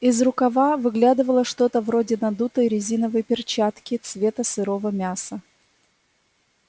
из рукава выглядывало что-то вроде надутой резиновой перчатки цвета сырого мяса